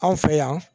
Anw fɛ yan